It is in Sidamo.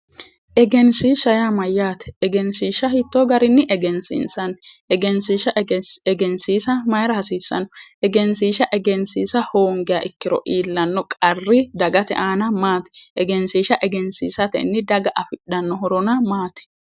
Egensiisha yaa mayyaate egensiisha hiitto garinni egensiinsanni egensiisha egensiisa mayira hasiissanno egensiisha egensiisa hoongiha ikkiro iillanno qarri dagate aana maati egensiisha egensiisatenni daga afidhano horona maati